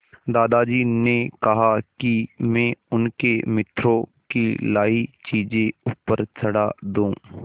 दादाजी ने कहा कि मैं उनके मित्रों की लाई चीज़ें ऊपर चढ़ा दूँ